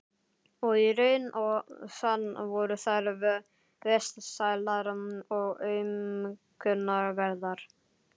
Og í raun og sann voru þær vesælar og aumkunarverðar.